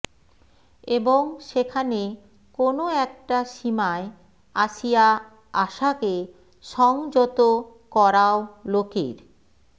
এবং সেখানে কোনো একটা সীমায় আসিয়া আশাকে সংযত করাও লোকের